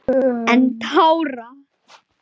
Án tára: